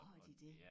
Har de det?